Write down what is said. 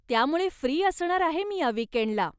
त्यामुळे फ्री असणार आहे मी या विकेंडला.